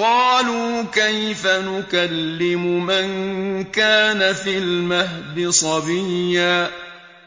قَالُوا كَيْفَ نُكَلِّمُ مَن كَانَ فِي الْمَهْدِ صَبِيًّا